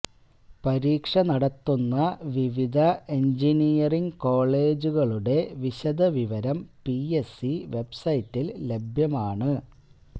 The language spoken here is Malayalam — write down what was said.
പരീക്ഷ നടത്തുന്ന വിവിധ എന്ജിനിയറിങ് കോളേജുകളുടെ വിശദവിവരം പിഎസ്സി വെബ്സൈറ്റില് ലഭ്യമാണ്